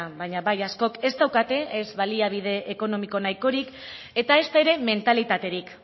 baina bai askok ez daukate ez baliabide ekonomiko nahikorik eta ezta ere mentalitaterik